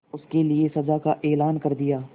उसके लिए सजा का ऐलान कर दिया